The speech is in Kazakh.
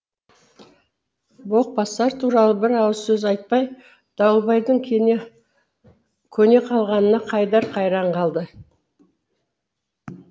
боқбасар туралы бір ауыз сөз айтпай дауылбайдың көне қалғанына қайдар қайран болды